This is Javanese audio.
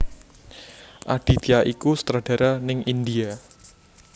Aditya iku sutradara ning India